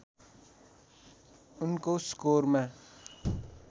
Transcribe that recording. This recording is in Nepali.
उनको स्कोरमा